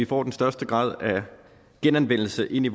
får den største grad af genanvendelse ind i